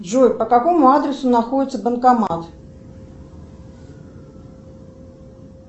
джой по какому адресу находится банкомат